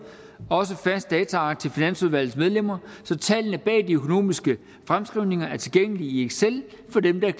også fast dataark til finansudvalgets medlemmer så tallene bag de økonomiske fremskrivninger er tilgængelige i excel for dem der